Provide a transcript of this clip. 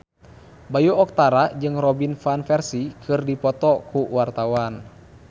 Bayu Octara jeung Robin Van Persie keur dipoto ku wartawan